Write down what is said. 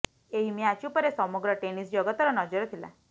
ଏହି ମ୍ୟାଚ୍ ଉପରେ ସମଗ୍ର ଟେନିସ୍ ଜଗତର ନଜର ଥିଲା